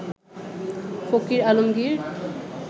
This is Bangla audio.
ফকির আলমগীর